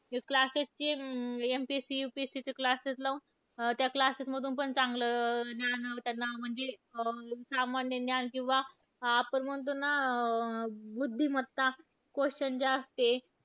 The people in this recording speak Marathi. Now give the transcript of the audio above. Classes चे अं MPSC, UPSC चे classes लावून त्या classes मधून पण चांगलं ज्ञान त्यांना, सामान्य ज्ञान किंवा आपण म्हणतो ना, बुद्धिमत्ता, question जे असते,